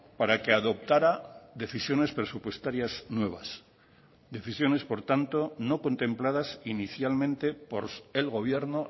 para que adoptara decisiones presupuestarias nuevas decisiones por tanto no contempladas inicialmente por el gobierno